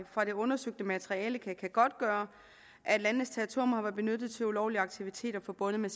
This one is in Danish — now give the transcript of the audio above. fra det undersøgte materiale kan godtgøre at landenes territorium har været benyttet til ulovlige aktiviteter forbundet med